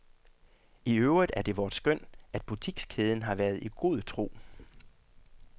I øvrigt er det vort skøn, at butikskæden har været i god tro.